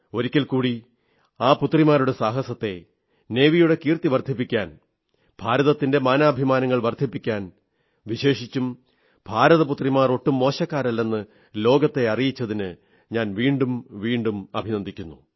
ഒരിക്കൽ കൂടി ആ പുത്രിമാരുടെ സാഹസത്തെ നാവികസേനയുടെ കീർത്തി വർധിപ്പിക്കാൻ ഭാരതത്തിന്റെ മാനാഭിമാനങ്ങൾ വർധിപ്പിക്കാൻ വിശേഷിച്ചും ഭാരതപുത്രിമാർ ഒട്ടും മോശക്കാരല്ലെന്ന് ലോകത്തെ അറിയിച്ചതിന് ഞാൻ വീണ്ടും വീണ്ടും അഭിനന്ദിക്കുന്നു